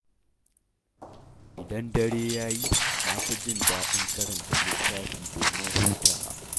Idan dare ya yi, na fi jin daɗin karanta littafi, domin hutawa.